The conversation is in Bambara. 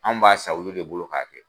An b'a san olu de bolo ka kɛ.